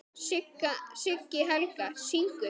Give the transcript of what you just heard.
Siggi Helga: Syngur?